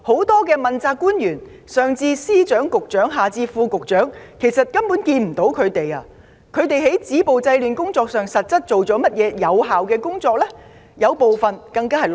多位問責官員——上至司長、局長，下至副局長——完全不見影蹤；他們實際上做過甚麼有效工作止暴制亂？